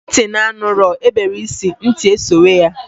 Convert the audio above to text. Nti na-anụrọ na-ebere isi, nti esowe ya.